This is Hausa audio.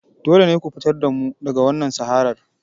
Dole ne ku fitar da mu daga wannan saharar!